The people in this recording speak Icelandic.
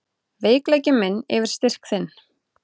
Veikleiki minn yfir styrk þinn.